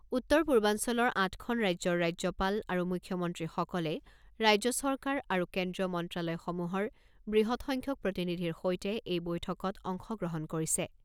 উত্তৰ পূৰ্বাঞ্চলৰ আঠখন ৰাজ্যৰ ৰাজ্যপাল আৰু মুখ্যমন্ত্ৰীসকলে ৰাজ্য চৰকাৰ আৰু কেন্দ্ৰীয় মন্ত্ৰালয়সমূহৰ বৃহৎসংখ্যক প্ৰতিনিধিৰ সৈতে এই বৈঠকত অংশগ্ৰহণ কৰিছে।